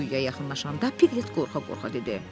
Quyuya yaxınlaşanda Piqlet qorxa-qorxa dedi.